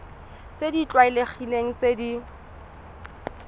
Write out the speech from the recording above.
tse di tlwaelegileng tse di